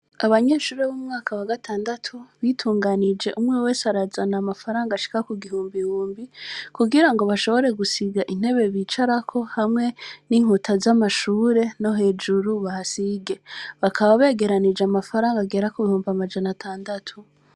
Abanyeshure bo mu mwaka wa gatandatu, bitunganije umwe wese arazana amafaranga ashika ku gihumbihumbi, kugirango bashobore gusiga intebe bicarako hamwe n' inkuta z' amashure, no hejuru bahasige. Bakaba begeranije amafaranga agera ku bihumbi amajana atandatu.